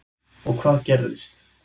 Og hvað gerðist?